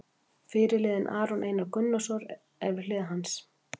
Fyrirliðinn Aron Einar Gunnarsson er við hlið hans.